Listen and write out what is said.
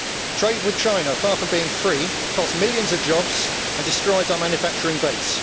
Trade with China, far from being free, costs millions of jobs and destroys our manufacturing base.